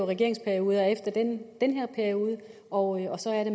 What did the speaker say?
regeringsperioder efter den den her periode og så er det